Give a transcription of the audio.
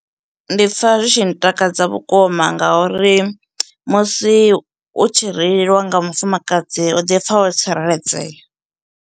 Ndi pfha zwi tshi ntakadza vhukuma ngauri musi u tshi reiliwa nga mufumakadzi u ḓi pfha wo tsireledzea.